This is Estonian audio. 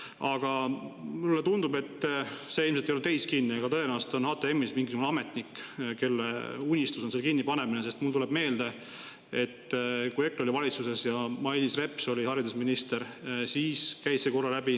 Aga mulle tundub – see ilmselt ei ole teis kinni –, et tõenäoliselt on HTM-is mingisugune ametnik, kelle unistus on selle kinnipanemine, sest mul tuleb meelde, et kui EKRE oli valitsuses ja Mailis Reps oli haridusminister, siis käis see korra läbi.